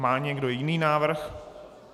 Má někdo jiný návrh?